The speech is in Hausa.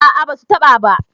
a a ba su taɓa ba